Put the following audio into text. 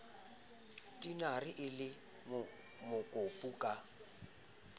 tinare e le mokopu ka